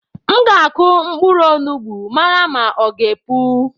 M ga akụ mkpụrụ onugbu mara ma ọ gá epu.